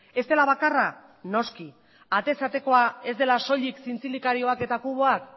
ez dela bakarra noski atez atekoa ez dela soilik zintzilikarioak eta kuboak